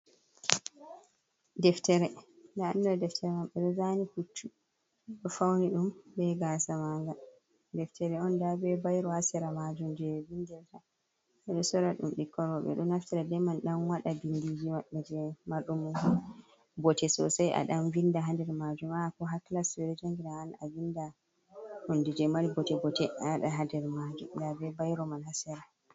Deftere nda ɗum ɗo deftere man ɓeɗo zani puccu ɗo fauni ɗum bei gasa manga, deftere on nda be bayro ha sera majum je vindirta ɓeɗo sora ɗum ɓikkoi roɓɓe ɗo naftira be man ɗan waɗa bindiji maɓɓe je marɗum bote sosai, a dan binda ha nder majuma ko ha klas ɓe jangiraan awawan abinda hunde je mari bote bote nda ha nder majum nda be bayro man ha sera.